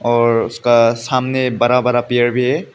और उसका सामने बड़ा बड़ा पेड़ भी है।